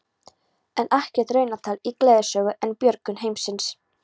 En ekkert raunatal í gleðisögu um björgun heimsins.